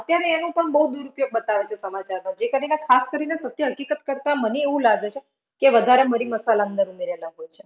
આત્યારે એનું પણ બઉ દુરુપયોગ બતાવે છે સમાચારમાં. જે કરીને ખાસ કરીને સત્ય હકીકત કરતા મને એવું લાગે છે કે વધારે મરી-મસાલા અંદર ઉમેરેલા હોઈ છે.